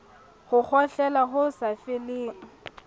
ho kgohlela ho sa feleng